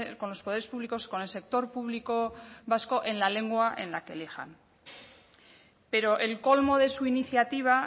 con los poderes públicos con el sector público vasco en la lengua en la que elijan pero el colmo de su iniciativa